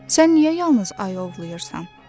Sən niyə yalnız ayı ovlayırsan,